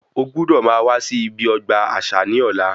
O gbúdò máa wá sí ọgbà àṣà ní ọ̀la